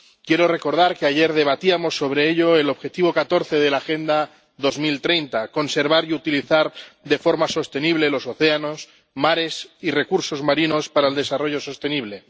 Quiero recordar —ayer debatíamos sobre ello— el objetivo 14 de la Agenda 2030 conservar y utilizar de forma sostenible los océanos, mares y recursos marinos para el desarrollo sostenible.